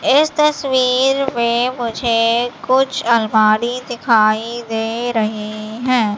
इस तस्वीर में मुझे कुछ अलमारी दिखाई दे रहे हैं।